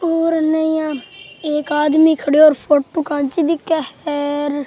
और इनने यहाँ एक आदमी खड्या और फोटो खेंचि दिखे है।